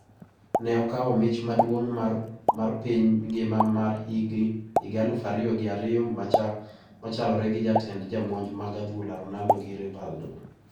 Ne okawo mich maduong` mar piny ngima mar higa aluf ariyi gi ariyo machalore gi jatend jomonj mag adhula Ronaldo gi Rivaldo